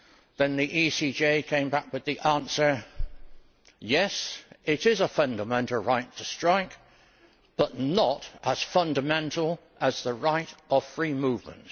then the ECJ came back with the answer yes, it is a fundamental right to strike, but not as fundamental as the right of free movement.